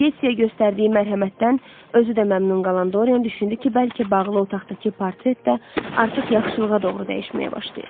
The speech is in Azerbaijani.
Getseyə göstərdiyi mərhəmətdən özü də məmnun qalan Doryan düşündü ki, bəlkə bağlı otaqdakı portret də artıq yaxşılığa doğru dəyişməyə başlayıb.